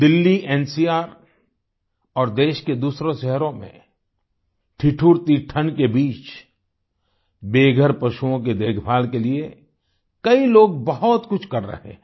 Delhi NCR और देश के दूसरे शहरों में ठिठुरती ठण्ड के बीच बेघर पशुओं की देखभाल के लिए कई लोग बहुत कुछ कर रहे हैं